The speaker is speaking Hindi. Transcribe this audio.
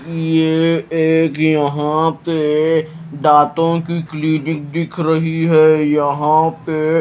ये एक यहां पे दांतों की क्लीनिक दिख रही है। यहां पे--